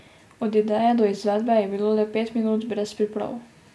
Od ideje do izvedbe je bilo le pet minut, brez priprav.